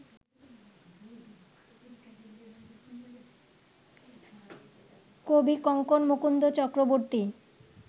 Kavikankan Mukunda Chakraborty